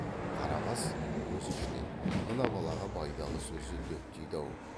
қарабас өз ішінен мына балаға байдалы сөзі дөп тиді ау